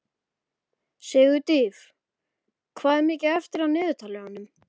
Sigurdríf, hvað er mikið eftir af niðurteljaranum?